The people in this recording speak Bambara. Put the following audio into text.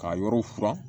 K'a yɔrɔ furan